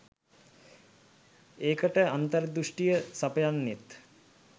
ඒකට අන්තර්දෘෂ්ටිය සපයන්නෙත්